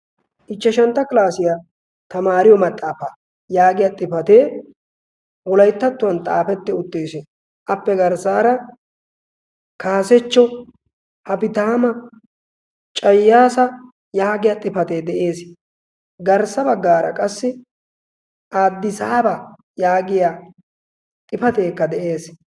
ichchashantta kilaasiyaa tamaariyo maxaafa yaagiya xifatee wolaittattuwan xaafetti uttiissi. appe garssaara kaasechcho hafitaama cayaasa yaagiya xifatee de7ees .garssa baggaara qassi addisaaba yaagiya xifateekka de7ees